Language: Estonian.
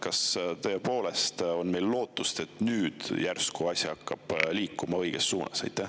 Kas tõepoolest on meil lootust, et nüüd hakkab asi liikuma õiges suunas?